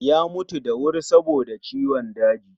Ya mutu da wuri saboda ciwon daji